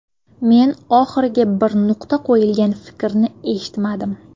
Men oxiriga bir nuqta qo‘yilgan fikrni eshitmadim.